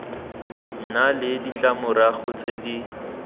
nna le ditlamorago tse di